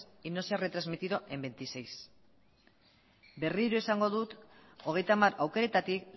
y no se ha retransmitido en veintiséis berriro esango dut hogeita hamar aukeretatik